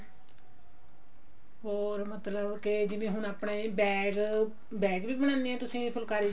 ਹੋਰ ਮਤਲਬ ਕੇ ਜਿਵੇਂ ਹੁਣ ਆਪਣੇ bag bag ਵੀ ਬਣਾਉਣੇ ਹੋ ਤੁਸੀਂ ਜਾਂ ਫੁਲਕਾਰੀ